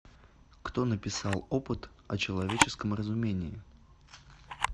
кто написал опыт о человеческом разумении